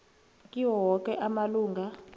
kiwo woke amalunga